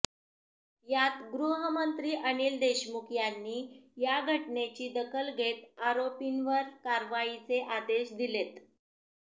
यात गृहमंत्री अनिल देशमुख यांनी या घटनेची दखल घेत आरोपींवर कारवाईचे आदेश दिलेत